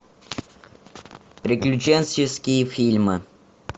приключенческие фильмы